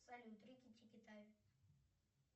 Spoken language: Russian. салют рики тики тави